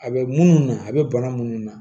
A bɛ munnu na a bɛ bana minnu na